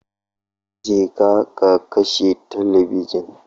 Je ka ka kashe talabijin